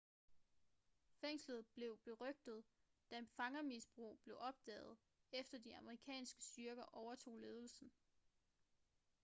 fængslet blev berygtet da fangermisbrug blev opdaget efter de amerikanske styrker overtog ledelsen